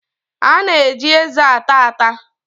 A na-eji eze ata ata.